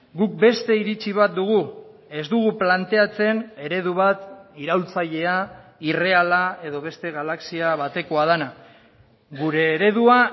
guk beste iritzi bat dugu ez dugu planteatzen eredu bat iraultzailea irreala edo beste galaxia batekoa dena gure eredua